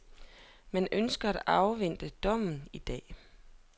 Man ønsker at afvente dommen i dag.